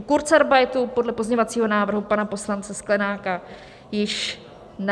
U kurzarbeitu podle pozměňovacího návrhu pana poslance Sklenáka již ne.